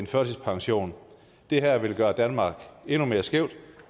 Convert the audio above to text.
førtidspension det her vil gøre danmark endnu mere skævt